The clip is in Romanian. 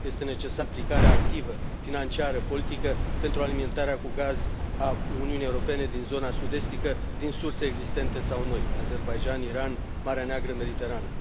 Este necesară implicarea activă, financiară, politică pentru alimentarea cu gaz a Uniunii Europene din zona sud estică din surse existente sau noi Azerbaidjan, Iran, Marea Neagră, Mediterana.